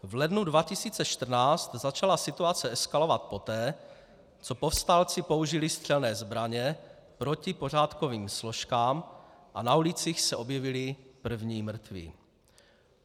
V lednu 2014 začala situace eskalovat poté, co povstalci použili střelné zbraně proti pořádkovým složkám a na ulicích se objevili první mrtví.